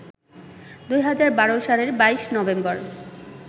২০১২ সালের ২২ নভেম্বর